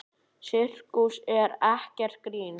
Sirkus er ekkert grín.